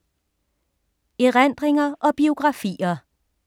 Erindringer og biografier